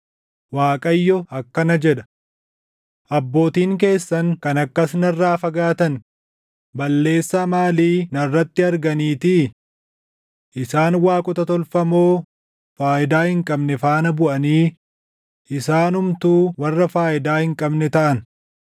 Waaqayyo akkana jedha: “Abbootiin keessan kan akkas narraa fagaatan balleessaa maalii narratti arganiitii? Isaan waaqota tolfamoo faayidaa hin qabne faana buʼanii isaanumtuu warra faayidaa hin qabne taʼan.